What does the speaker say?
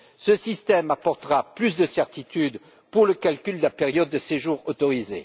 Ce système apportera plus de certitude pour le calcul de la période de séjour autorisé.